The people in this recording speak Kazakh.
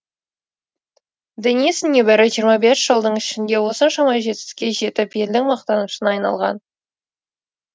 денис небәрі жиырма бес жылдың ішінде осыншама жетістікке жетіп елдің мақтанышына айналған